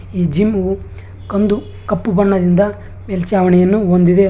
ಈ ಜಿಮ್ಮು ಕಂದು ಕಪ್ಪು ಬಣ್ಣದಿಂದ ಮೇಲ್ಚಾವಣಿಯನ್ನು ಹೊಂದಿದೆ.